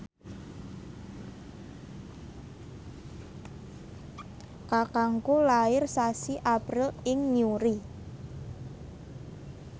kakangku lair sasi April ing Newry